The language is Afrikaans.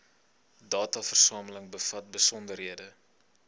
dataversameling bevat besonderhede